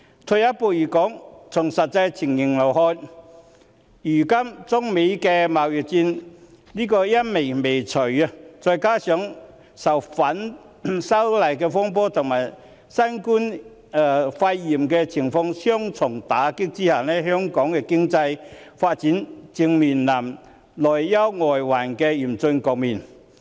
退一步來說，從實際情形來看，如今中美貿易戰陰霾未除，再加上受反修例風波及新型冠狀病毒肺炎疫情的雙重打擊，香港的經濟發展正面臨內憂外患的嚴峻局面。